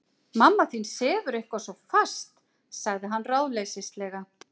Mamma þín sefur eitthvað svo fast- sagði hann ráðleysislega.